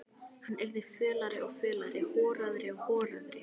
Hann yrði fölari og fölari, horaðri og horaðri.